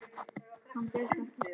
Hann bauðst ekki.